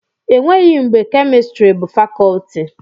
Enweghị mgbe kemịstrị bụ fakọtị